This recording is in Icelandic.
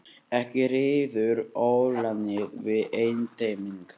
Ekki ríður ólánið við einteyming.